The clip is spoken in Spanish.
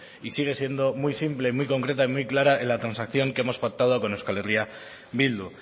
y sigue siendo muy simple muy concreta y muy clara en la transacción que hemos pactado con euskal herria bildu